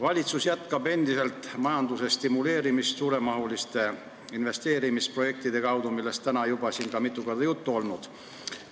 Valitsus jätkab endiselt majanduse stimuleerimist suuremahuliste investeerimisprojektide kaudu, millest ka täna juba mitu korda juttu on olnud.